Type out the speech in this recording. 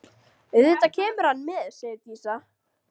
Auðvitað kemur hann með, segir Dísa.